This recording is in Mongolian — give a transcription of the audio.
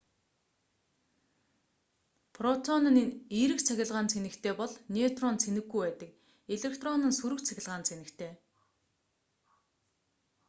протон нь эерэг цахилгаан цэнэгтэй бол нейтрон цэнэггүй байдаг электрон нь сөрөг цахилгаан цэнэгтэй